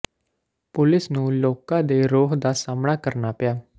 police ਨੂੰ ਲੋਕਾਂ ਦੇ ਰੋਹ ਦਾ ਸਾਹਮਣਾ ਕਰਨਾ ਪਿਆ